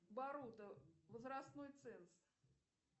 боруто возрастной ценз